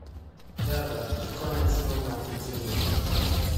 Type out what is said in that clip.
java ikona chiemo ma iting'o